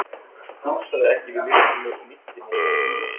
og fúlsaði ekki við myrkrinu og mýktinni og hlýjunni.